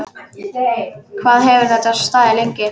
Hvað hefur þetta staðið lengi?